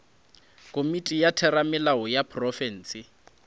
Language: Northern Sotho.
komiti ya theramelao ya profense